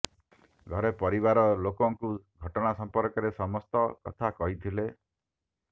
ଘରେ ପରିବାର ଲୋକଙ୍କୁ ଘଟଣା ସମ୍ପର୍କରେ ସମସ୍ତ କଥା କହିଥିଲେ